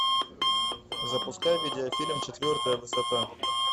запускай видеофильм четвертая высота